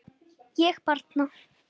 Ég bara.